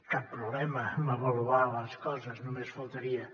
cap problema amb avaluar les coses només faltaria